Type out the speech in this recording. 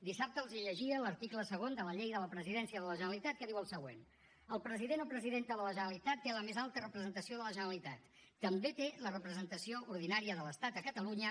dissabte els llegia l’article segon de la llei de la presidència de la generalitat que diu el següent el president o presidenta de la generalitat té la més alta representació de la generalitat també té la representació ordinària de l’estat a catalunya